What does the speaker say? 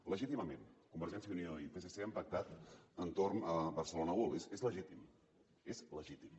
legítimament convergència i unió i psc han pactat entorn de barcelona world és legítim és legítim